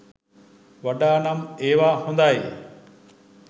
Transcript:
වඩා නම් ඒව හොඳයි.